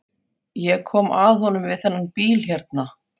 Ég kom að honum við þennan bíl hérna.